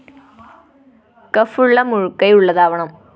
cough ഉള്ള മുഴുകൈ ഉള്ളതാവണം